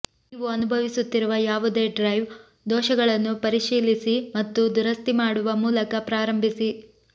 ನೀವು ಅನುಭವಿಸುತ್ತಿರುವ ಯಾವುದೇ ಡ್ರೈವ್ ದೋಷಗಳನ್ನು ಪರಿಶೀಲಿಸಿ ಮತ್ತು ದುರಸ್ತಿ ಮಾಡುವ ಮೂಲಕ ಪ್ರಾರಂಭಿಸಿ